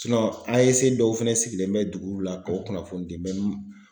AEC dɔw fɛnɛ sigilen bɛ duguw la k'o kunnafoni di